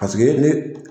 Paseke ne